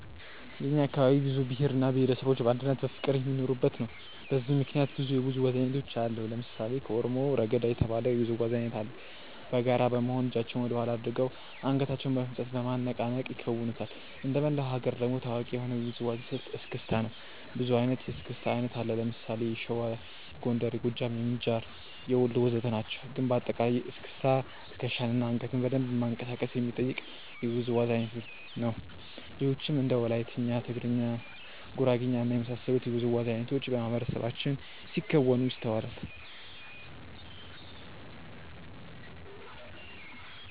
የእኛ አካባቢ ብዙ ብሄር እና ብሄረሰቦች በአንድነትና በፍቅር የሚኖሩበት ነው። በዚህም ምክንያት ብዙ የውዝዋዜ አይነቶችን አያለሁ። ለምሳሌ ከኦሮሞ "ረገዳ" የተባለ የውዝዋዜ አይነት አለ። በጋራ በመሆን እጃቸውን ወደኋላ አድርገው አንገታቸውን በፍጥነት በማነቃነቅ ይከውኑታል። እንደመላው ሀገር ደግሞ ታዋቂ የሆነው የውዝዋዜ ስልት "እስክስታ" ነው። ብዙ አይነት የእስክስታ አይነት አለ። ለምሳሌ የሸዋ፣ የጎንደር፣ የጎጃም፣ የምንጃር፣ የወሎ ወዘተ ናቸው። ግን በአጠቃላይ እስክስታ ትከሻን እና አንገትን በደንብ ማንቀሳቀስ የሚጠይቅ የውዝዋዜ አይነት ነው። ሌሎችም እንደ ወላይትኛ፣ ጉራግኛ፣ ትግርኛ እና የመሳሰሉት የውዝዋዜ አይነቶች በማህበረሰባችን ሲከወኑ ይስተዋላል።